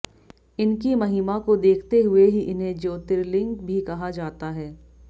इनकी महिमा को देखते हुए ही इन्हें ज्योतिर्लिंग भी कहा जाता है